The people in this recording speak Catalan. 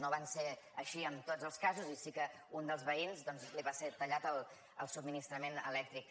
no va ser així en tots els casos i sí que a un dels veïns doncs li va ser tallat el subministrament elèctric